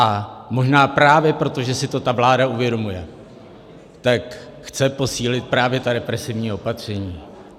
A možná právě proto, že si to ta vláda uvědomuje, tak chce posílit právě ta represivní opatření.